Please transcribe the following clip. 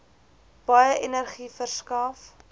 baie energie verskaf